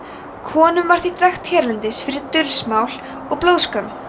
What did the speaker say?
konum var því drekkt hérlendis fyrir dulsmál og blóðskömm